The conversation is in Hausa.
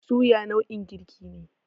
Suya nau'in girki ne.